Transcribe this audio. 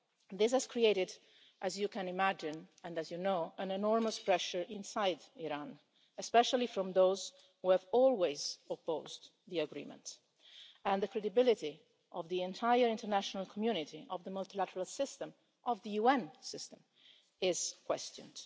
This has created, as you can imagine, and as you know, enormous pressure inside Iran, especially from those who have always opposed the agreement, and the credibility of the entire international community, of the multilateral system, of the UN system, is being questioned.